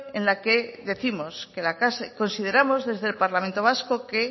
en la que décimos que consideramos desde el parlamento vasco que